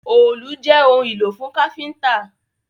Òòlù jé òun ìlò fún káfínńtà!